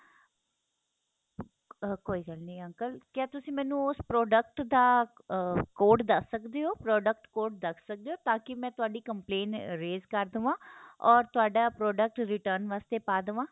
ਕੋਈ ਗੱਲ ਨਹੀਂ uncle ਕਿਆ ਤੁਸੀਂ ਮੈਨੂੰ ਉਸ product ਦਾ ਆਹ code ਦੱਸ ਸਕਦੇ ਹੋ product code ਦੱਸ ਸਕਦੇ ਹੋ ਤਾਂ ਕਿ ਮੈ ਤੁਹਾਡੀ complaint raise ਕਰ ਦਵਾ ਔਰ ਤੁਹਾਡਾ product return ਵਾਸਤੇ ਪਾ ਦਵਾ